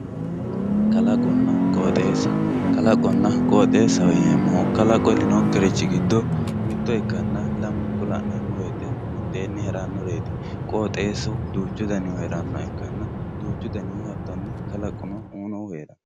Kalaqonna qooxxeessa, kalqonna qooxxeessa yineemohu heerino'nkerichi gido mito ikkanna lamu'nku la'nemo woyite mitteenni heeranoreti qooxxeessu duuchu danihu heeranohha ikkanna duuchu danihu hatoni kalqu uuyinohu heerawo